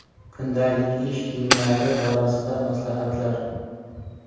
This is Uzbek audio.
Kundalik ish kiyimlari borasida maslahatlar.